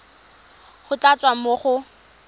go tla tswa mo go